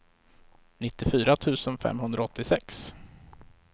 nittiofyra tusen femhundraåttiosex